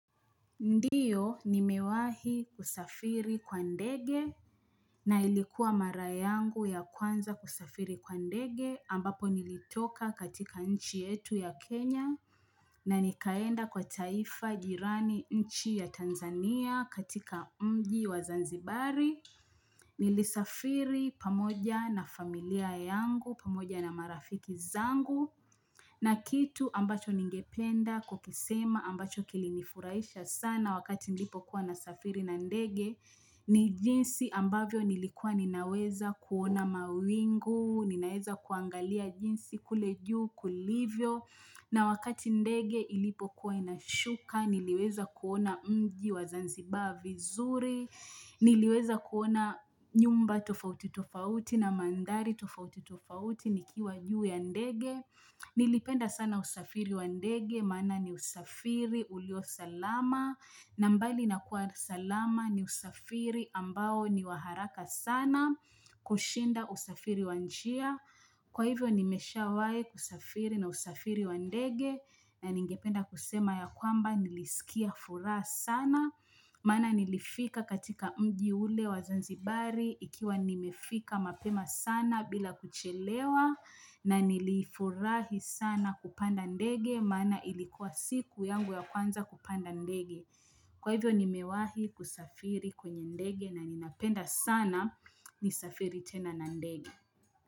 Ndio nimewahi kusafiri kwa ndege na ilikuwa mara yangu ya kwanza kusafiri kwa ndege ambapo nilitoka katika nchi yetu ya Kenya na nikaenda kwa taifa jirani nchi ya Tanzania katika mji wa Zanzibari nilisafiri pamoja na familia yangu pamoja na marafiki zangu na kitu ambacho ningependa kukisema ambacho kilinifuraisha sana wakati nilipokuwa nasafiri na ndege ni jinsi ambavyo nilikuwa ninaweza kuona mawingu, ninaweza kuangalia jinsi kule juu kulivyo. Na wakati ndege ilipokuwa inashuka, niliweza kuona mji wa zanzibaa vizuri, niliweza kuona nyumba tofauti tofauti na mandari tofauti tofauti nikiwa juu ya ndege. Nilipenda sana usafiri wa ndege, mana ni usafiri, ulio salama, na mbali na kuwa salama ni usafiri ambao ni waharaka sana kushinda usafiri wa njia. Kwa hivyo nimeshawai kusafiri na usafiri wa ndege na ningependa kusema ya kwamba nilisikia furaha sana maana nilifika katika mji ule wazanzibari ikiwa nimefika mapema sana bila kuchelewa na nilifurahi sana kupanda ndege maana ilikuwa siku yangu ya kwanza kupanda ndege kwa hivyo nimewahi kusafiri kwenye ndege na ninapenda sana nisafiri tena na ndege.